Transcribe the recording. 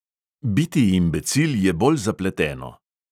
"Biti imbecil je bolj zapleteno."